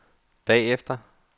bagefter